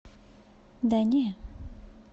да не